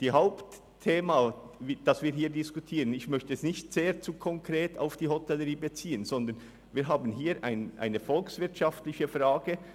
Das Hauptthema, das wir diskutieren, möchte ich nicht zu konkret auf die Hotellerie beziehen, denn es geht um eine volkswirtschaftliche Frage.